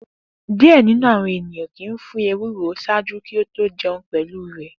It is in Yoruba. Diẹ ninu awọn eniyan kii fun pọ ewe kikoro ṣaaju ki o to jẹun pẹlu rẹ